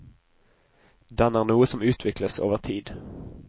Den er noe som utvikles over tid.